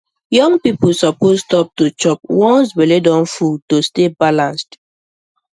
young people suppose stop to chop once belle don full to stay balanced